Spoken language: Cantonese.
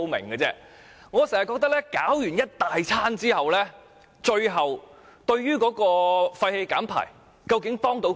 我經常覺得，在採取各項措施後，究竟對於減排有多少幫助呢？